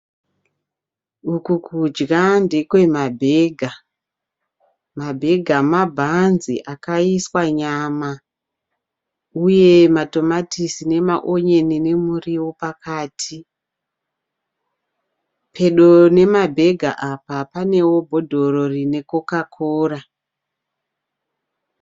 Uku kudya ndekwa ma( burger). Ma (burger) mabhanzi akaiswa nyama uye matomatisi nemaonyeni nemuriwo pakati. Pedo nema (burger) apa panewo bhodhoro rine coca cora.